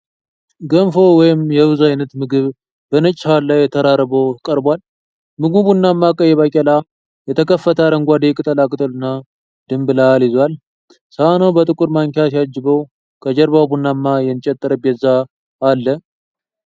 ገንፎ ወይም የሩዝ ዓይነት ምግብ በነጭ ሳህን ላይ ተራርቦ ቀርቧል። ምግቡ ቡናማ ቀይ ባቄላ፣ የተከተፈ አረንጓዴ ቅጠላቅጠልና ድንብላል ይዟል። ሳህኑ በጥቁር ማንኪያ ሲያጅበው፣ ከጀርባው ቡናማ የእንጨት ጠረጴዛ አለ።